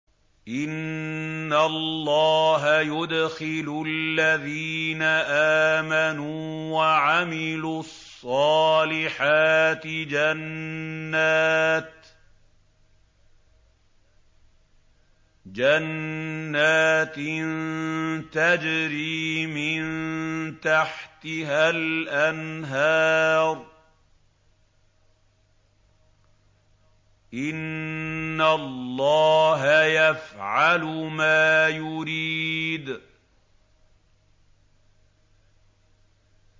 إِنَّ اللَّهَ يُدْخِلُ الَّذِينَ آمَنُوا وَعَمِلُوا الصَّالِحَاتِ جَنَّاتٍ تَجْرِي مِن تَحْتِهَا الْأَنْهَارُ ۚ إِنَّ اللَّهَ يَفْعَلُ مَا يُرِيدُ